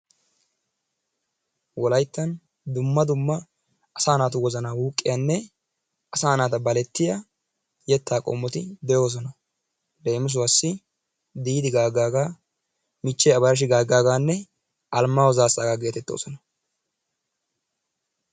Wolayttan dumma dumma asaa naatu wozanaa wuuqqiyanne asaa naata balettiya yettaa qommoti de'oosona. Leemisuwassi Diidi Gaaggaagaa, Abarashi Gaaggaagaanne Alimaayo Zaassaagaa geetettoosona.